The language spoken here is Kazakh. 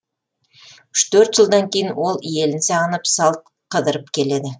үш төрт жылдан кейін ол елін сағынып салт қыдырып келеді